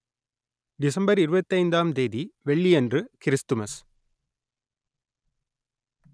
December இருபத்தி ஐந்தாம் தேதி வெள்ளி அன்று கிறிஸ்துமஸ்